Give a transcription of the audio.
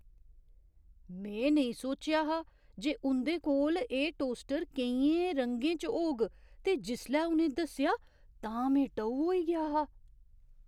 में नेईं सोचेआ हा जे उं'दे कोल एह् टोस्टर केइयें रंगें च होग ते जिसलै उ'नें दस्सेआ तां में टऊ होई गेआ हा।